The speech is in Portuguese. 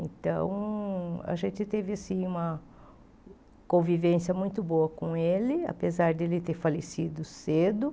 Então, a gente teve assim uma convivência muito boa com ele, apesar de ele ter falecido cedo.